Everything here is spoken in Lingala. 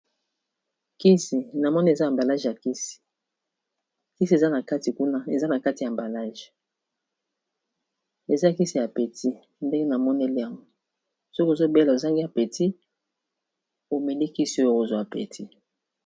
Kisi na mone eza ambalage ya kisi, kisi ea nakati kuna eza na kati ya mbalage eza kisi ya peti ndenge na monelean soki ozobela ozangi ya peti omeli kisi oyo kozwa peti.